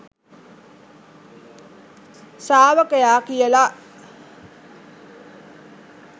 ශ්‍රාවකයා කියල.